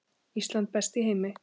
Ísland, best í heimi.